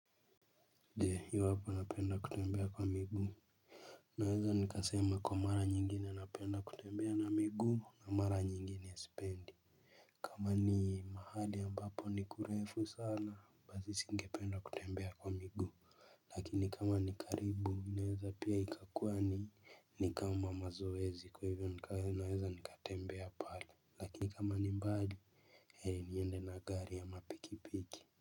Je iwapo napenda kutembea kwa miguu naweza nikasema kwa mara nyingine napenda kutembea na miguu na mara nyingine sipendi. Kama ni mahali ambapo ni kurefu sana basi nisingependa kutembea kwa miguu. Lakini kama ni karibu naweza pia ikakua ni ni kama mazoezi kwa hivyo naweza nikatembea pale. Lakini kama ni mbali heri niende na gari ama pikipiki.